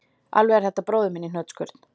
Alveg er þetta bróðir minn í hnotskurn